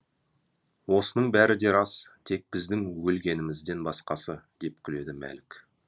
осының бәрі де рас тек біздің өлгенімізден басқасы деп күледі мәлік